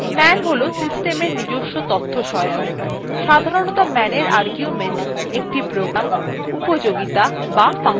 man হল systemsএর নিজস্ব তথ্যসহায়ক সাধারণতঃ manএর argument একটি program উপযোগীতা বা function হয়ে থাকে